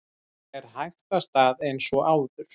Fer hægt af stað eins og áður